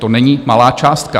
To není malá částka.